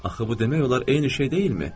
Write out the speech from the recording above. Axı bu demək olar eyni şey deyilmi?